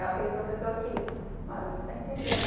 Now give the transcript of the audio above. É aquele professor que, olha, não está entendendo.